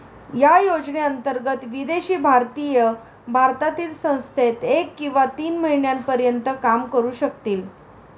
या योजने अन्तर्गत, विदेशी भारतीय भारतातील संस्थेत एक किंवा तीन महिन्यांपर्यन्त काम करू शकतील.